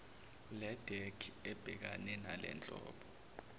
ledec ebhekane nalenhlobo